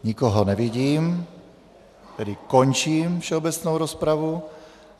Nikoho nevidím, tedy končím všeobecnou rozpravu.